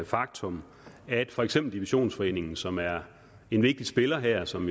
faktum at for eksempel divisionsforeningen som er en vigtig spiller her og som